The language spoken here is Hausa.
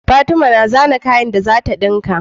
Fatima na zana kayan da zata dinka